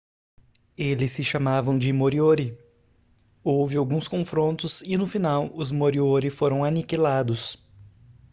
eles se chamavam de moriori houve alguns confrontos e no final os moriori foram aniquilados